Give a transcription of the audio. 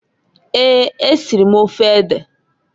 Eeǃ Esiri m ofe ede.